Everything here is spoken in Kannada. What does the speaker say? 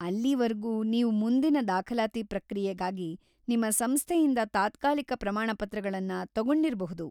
ಅಲ್ಲಿವರ್ಗೂ, ನೀವು ಮುಂದಿನ ದಾಖಲಾತಿ ಪ್ರಕ್ರಿಯೆಗಾಗಿ ನಿಮ್ಮ ಸಂಸ್ಥೆಯಿಂದ ತಾತ್ಕಾಲಿಕ ಪ್ರಮಾಣಪತ್ರಗಳನ್ನ ತಗೊಂಡಿರ್ಬಹುದು.